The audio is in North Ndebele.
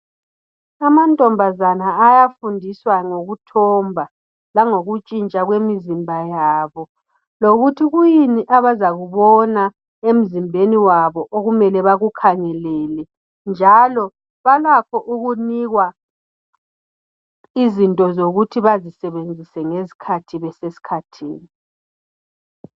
amantombazana ayafundiswa ngokuthomba langokutshintsha kwemizimba yabo lokuthi kuyini abazakubona emzimbeni wabo okumele bakukhangelele njalo balakho ukunikwa izinto zokuthi bazisebenzise ngesikhathi besesikhathini